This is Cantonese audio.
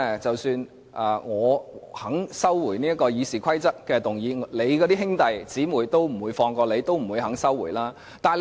即使我肯收回修改《議事規則》的議案，我的兄弟姊妹也不會放過你，不會收回議案。